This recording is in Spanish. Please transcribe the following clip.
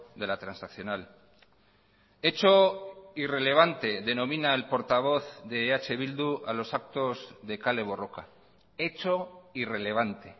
de la transaccional hecho irrelevante denomina el portavoz de eh bildu a los actos de kale borroka hecho irrelevante